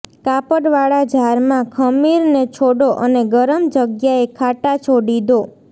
કાપડવાળા જારમાં ખમીરને છોડો અને ગરમ જગ્યાએ ખાટા છોડી દો